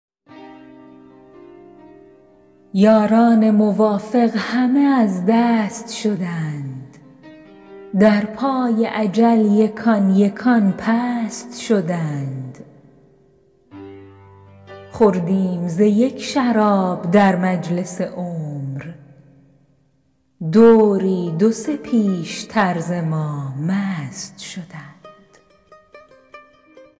یاران موافق همه از دست شدند در پای اجل یکان یکان پست شدند خوردیم ز یک شراب در مجلس عمر دوری دو سه پیشتر ز ما مست شدند